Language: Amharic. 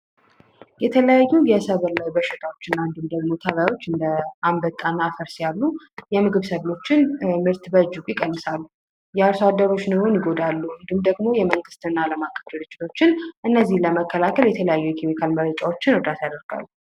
የተለያዩ የሰብል ላይ በሽታዎችን እንዲሁም የተለያዩ አምበጣዎች የምግብ ሰብል ምርትን በእጅጉ ይቀንሳሉ፤ የአርሶአደር ኑሮን በእጅጉ ይጎዳሉ። እንዲሁም ደግሞ የመንግስትና አለም አቀፍ ድርጅቶች እነዚህን ለመካለከል የተለያዩ ኬሚካሎችን ይረጫሉ።